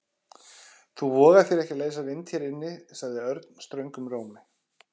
Þú vogar þér ekki að leysa vind hér inni sagði Örn ströngum rómi.